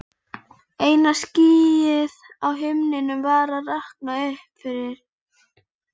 Eina skýið á himninum var að rakna upp yfir